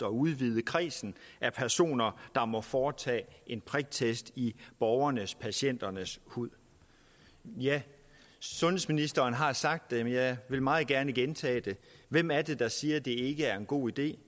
at udvide kredsen af personer der må foretage en priktest i borgernespatienternes hud sundhedsministeren har sagt det men jeg vil meget gerne gentage det hvem er det der siger at det ikke er en god idé